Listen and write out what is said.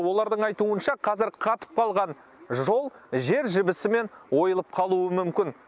олардың айтуынша қазір қатып қалған жол жер жібісімен ойылып қалуы мүмкін